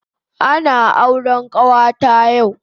Ana auren kawata yau